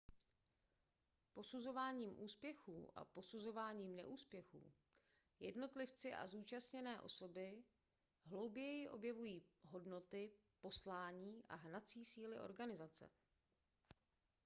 posuzováním úspěchů a poznáváním neúspěchů jednotlivci a zúčastněné osoby hlouběji objevují hodnoty poslání a hnací síly organizace